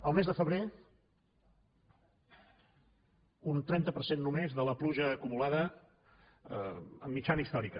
el mes de febrer un trenta per cent només de la pluja acumulada en mitjana històrica